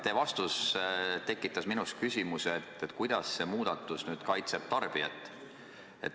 Teie vastus tekitas minus küsimuse, kuidas see muudatus nüüd tarbijat kaitseb.